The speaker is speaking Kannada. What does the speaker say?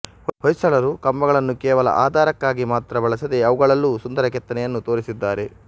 ಹೊಯ್ಸಳರು ಕಂಬಗಳನ್ನು ಕೇವಲ ಆಧಾರಕ್ಕಾಗಿ ಮಾತ್ರ ಬಳಸದೆ ಅವುಗಳಲ್ಲೂ ಸುಂದರ ಕೆತ್ತನೆಯನ್ನು ತೋರಿಸಿದ್ದಾರೆ